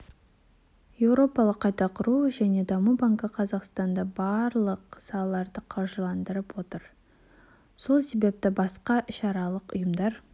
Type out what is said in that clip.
еуропалық қайта құру және даму банкі қазақстанда барлық салаларды қаржыландырып жатыр сол себепті басқа іалықаралық ұйымдар